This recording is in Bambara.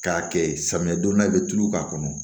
K'a kɛ samiyɛ donda ye i bɛ tulu k'a kɔnɔ